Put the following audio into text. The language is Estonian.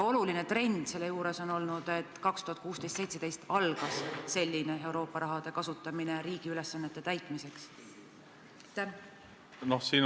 Oluline trend on olnud, et 2016 ja 2017 algas Euroopa raha kasutamine riigi ülesannete täitmiseks.